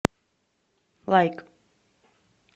лайк